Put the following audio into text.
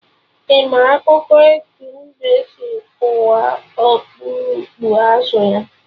Ị ma akụkọ etu mbe si kụwa okpurukpu azụ ya?